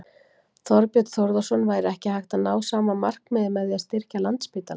Þorbjörn Þórðarson: Væri ekki hægt að ná sama markmiði með því að styrkja Landspítalann?